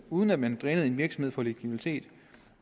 uden at man drænede en virksomhed for likviditet